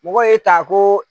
Mɔgɔ y'e ta ko